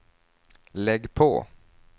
lägg på